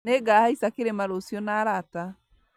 Nĩngahaica kĩrĩma rũciũ na arata